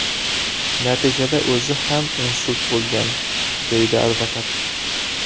Natijada o‘zi ham insult bo‘lgan”, deydi advokat.